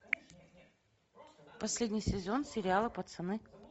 последний сезон сериала пацаны